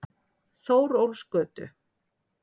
Þórólfsgötu